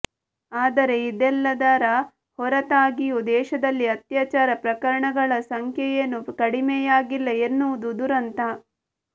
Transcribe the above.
ಆದರೆ ಇದೆಲ್ಲದರ ಹೊರತಾಗಿಯೂ ದೇಶದಲ್ಲಿ ಅತ್ಯಾಚಾರ ಪ್ರಕರಣಗಳ ಸಂಖ್ಯೆಯೇನೂ ಕಡಿಮೆಯಾಗಿಲ್ಲ ಎನ್ನುವುದು ದುರಂತ